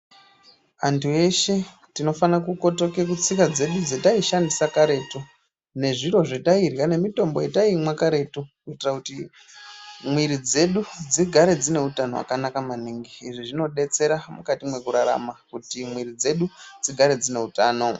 Antu eshe tinofane kukotoka kutsika dzedu dzataishandisa karetu nezviro zvatairya, nemitombo yataimwa karetu kuitira kuti mwiri dzedu dzigare dzine utano hwakanaka maningi. Izvi zvinodetsera mukati mwekurarama kuti mwiri dzedu dzigare dzine utano.